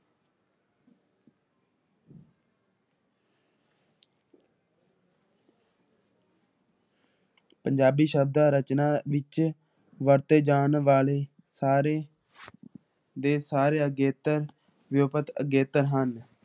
ਪੰਜਾਬੀ ਸ਼ਬਦ ਰਚਨਾ ਵਿੱਚ ਵਰਤੇ ਜਾਨ ਵਾਲੇ ਸਾਰੇ ਦੇ ਸਾਰੇ ਅਗੇਤਰ ਜੁਕਤ ਅਗੇਤਰ ਹਨ ।